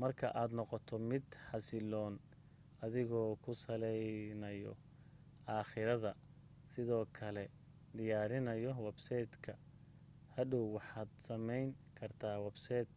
marka aad noqoto mid xasiloon adigoo ku saleynayoakhidada sidoo kale diyaarinayo websaydh k hodhow waxaad sameyn kartaa websaydh